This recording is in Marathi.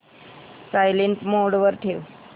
सायलेंट मोड वर ठेव